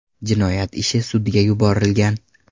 Jinoyat ishi sudga yuborilgan.